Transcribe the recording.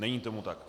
Není tomu tak.